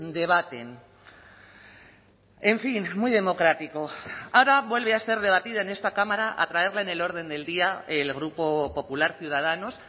debaten en fin muy democrático ahora vuelve a ser debatida en esta cámara a traerla en el orden del día el grupo popular ciudadanos